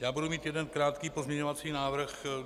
Já budu mít jeden krátký pozměňovací návrh.